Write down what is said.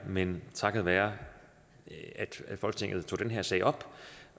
men takket være at folketinget tog den her sag op